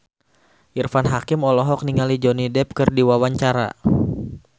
Irfan Hakim olohok ningali Johnny Depp keur diwawancara